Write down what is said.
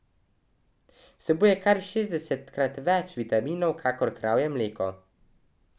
Vsebuje kar šestdesetkrat več vitamina kakor kravje mleko.